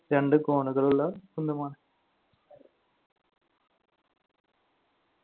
രണ്ട് കോണുകളുള്ള കുന്തമാണ്.